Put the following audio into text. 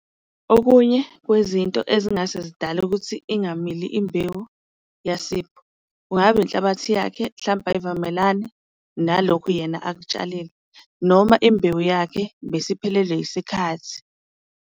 Okunye kwezinto ezingase zidale ukuthi ingamili imbewu yaSipho kungaba inhlabathi yakhe, mhlampe ayivamelani nalokhu yena akutshalile noma imbewu yakhe bese iphelelwe isikhathi.